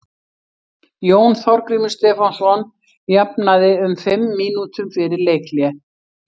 Jón Þorgrímur Stefánsson jafnaði um fimm mínútum fyrir leikhlé.